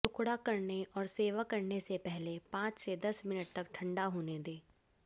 टुकड़ा करने और सेवा करने से पहले पांच से दस मिनट तक ठंडा होने दें